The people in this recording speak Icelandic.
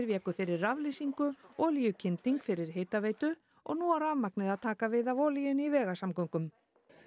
véku fyrir raflýsingu olíukynding fyrir hitaveitu og nú á rafmagnið að taka við af olíunni í vegasamgöngum